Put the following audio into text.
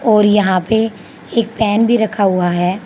और यहां पे एक पैन भी रखा हुआ है।